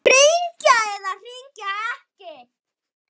Hringja eða hringja ekki?